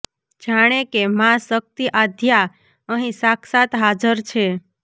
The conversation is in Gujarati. જાણે કે માં શક્તિ આદ્યા અહીં સાક્ષાત હાજર છે